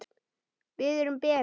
Biður um Beru.